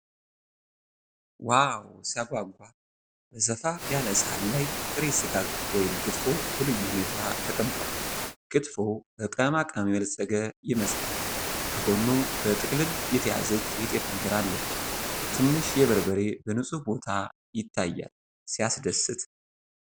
ዋው ሲያጓጓ! በሰፋ ያለ ሳህን ላይ ጥሬ ሥጋ (ክትፎ) በልዩ ሁኔታ ተቀምጧል። ክትፎው በቅመማ ቅመም የበለፀገ ይመስላል። ከጎኑ በጥቅልል የተያዘች የጤፍ እንጀራ አለች። ትንሽ የበርበሬ በንፁህ ቦታ ይታያል። ሲያስደስት!